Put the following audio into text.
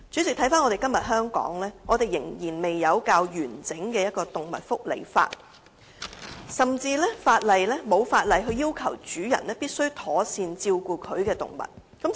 代理主席，香港至今仍未有較完整的動物福利法，甚至沒有法例要求主人必須妥善照顧其動物。